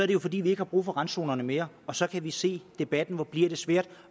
det jo fordi vi ikke har brug for randzonerne mere og så kan vi se debatten hvor bliver det svært at